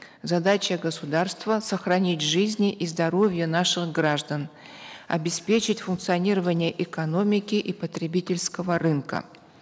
задача государства сохранить жизни и здоровье наших граждан обеспечить функционирование экономики и потребительского рынка